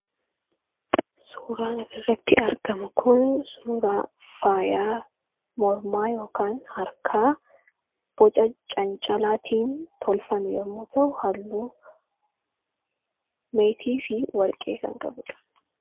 suuraan asirratti argamu kun suuraa faayaa mormaa ykn harkaa boca cancalaatiin tolfame yommuu ta'u halluu meetii fi warqee kan qabudha.